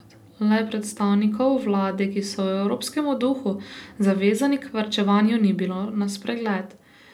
Le predstavnikov vlade, ki so v evropskem duhu zavezani k varčevanju, ni bilo na spregled.